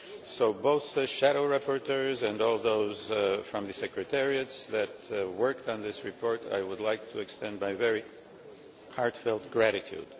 So both to the shadow rapporteurs, and to all those from the secretariats that worked on this report, I would like to extend my very heartfelt gratitude.